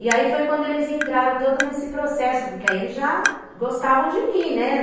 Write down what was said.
E aí foi quando eles entraram todo nesse processo, porque aí eles já gostavam de mim, né.